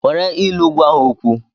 Nwere ilu gwa ha okwu!